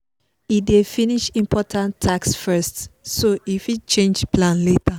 e dey finish important task first so e fit change plan later